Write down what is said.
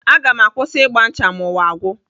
Aga m akwụsị ịgba ncha ma ụwa gwụ.